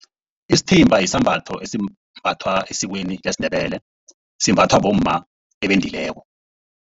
Isithimba sisambatho esimbathwa esikweni lesiNdebele. Simbathwa bomma ebendileko.